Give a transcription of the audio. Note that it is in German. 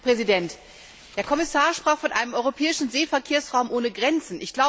Herr Präsident! Der Kommissar sprach von einem europäischen Seeverkehrsraum ohne Grenzen.